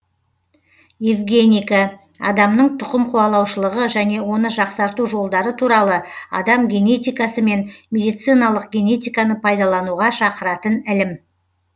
евгеника адамның түқымқуалаушылығы және оны жақсарту жолдары туралы адам генетикасы мен медициналық генетиканы пайдалануға шақыратын ілім